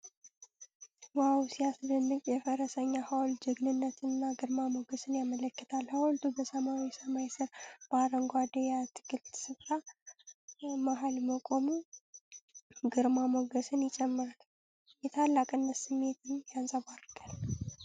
ዋው ሲያስደንቅ! የፈረሰኛ ሐውልቱ ጀግንነትንና ግርማ ሞገስን ያመለክታል ። ሐውልቱ በሰማያዊ ሰማይ ስር በአረንጓዴ የአትክልት ስፍራ መሀል መቆሙ ግርማ ሞገስን ይጨምራል። የታላቅነት ስሜት ያንጸባርቃል!።